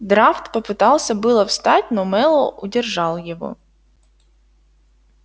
драфт попытался было встать но мэллоу удержал его